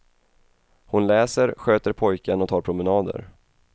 Hon läser, sköter pojken och tar promenader.